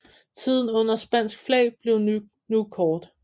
Tiden under spansk flag blev nu kort